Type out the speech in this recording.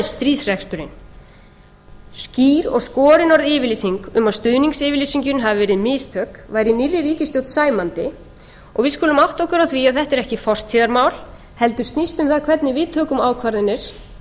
stríðsreksturinn skýr og skorinorð yfirlýsing um að stuðningsyfirlýsingin hafi verið mistök væri nýrri ríkisstjórn sæmandi og við skulum átta okkur á því að þetta er ekki fortíðarmál heldur snýst um það hvernig við tökum ákvarðanir